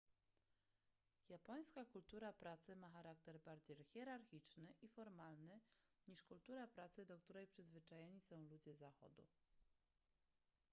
japońska kultura pracy ma charakter bardziej hierarchiczny i formalny niż kultura pracy do której przyzwyczajeni są ludzie zachodu